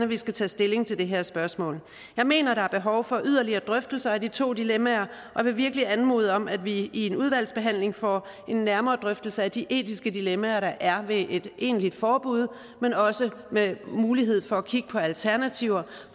vi skal tage stilling til det her spørgsmål jeg mener at der er behov for yderligere drøftelser af de to dilemmaer og vil virkelig anmode om at vi i en udvalgsbehandling får en nærmere drøftelse af de etiske dilemmaer der er ved et egentligt forbud men også mulighed for at kigge på alternativer